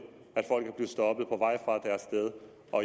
at folk er stoppet på vej